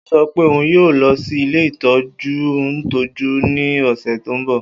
O sọ pe oun yoo lọ si ile itọju ntọju ni ọsẹ ti n bọ